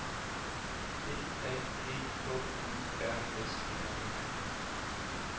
D A G K U R S E R